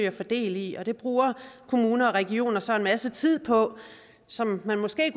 at få del i og det bruger kommuner og regioner så en masse tid på som man måske